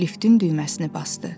Liftin düyməsini basdı.